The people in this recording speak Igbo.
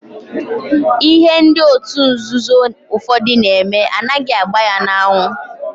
Ihe ndị otu nzuzo ụfọdụ na-eme anaghị agba ya n'anwụ.